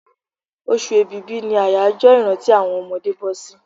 Oṣù èbìbí ni àjọyọ̀ ìrántí àwọn ọmọdé bọ́sí